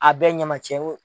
A bɛɛ ɲama cɛw ye